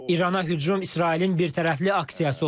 İrana hücum İsrailin birtərəfli aksiyası olub.